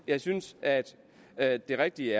jeg synes at det rigtige